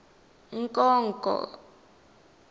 nkonko